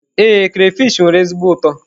Ee, crayfish nwere ezigbo ụtọ.